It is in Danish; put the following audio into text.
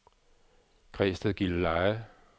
Græsted-Gilleleje